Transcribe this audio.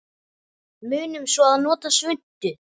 Munum svo að nota svuntu.